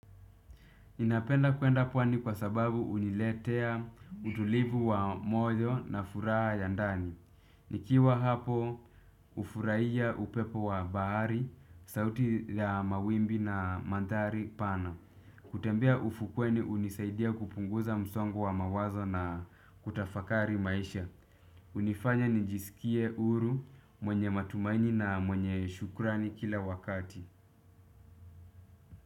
Ninapenda kuenda pwani kwa sababu huniletea utulivu wa moyo na furaha ya ndani. Nikiwa hapo hufurahiya upepo wa bahari, sauti ya mawimbi na mandhari pana. Kutembea ufukweni hunisaidia kupunguza msongo wa mawazo na kutafakari maisha. Hnifanya nijisikie uhuru mwenye matumaini na mwenye shukrani kila wakati.